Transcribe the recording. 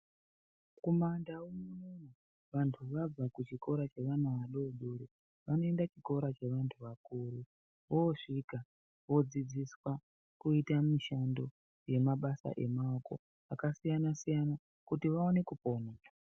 Kuma ndau unono vantu vabva kuchikora chevana vadodori vanoenda kuchikora chevantu vakuru. Voosvika vodzidziswa kuita mishando yemabasa emaoko akasiyana-siyana kuti vaone kupona.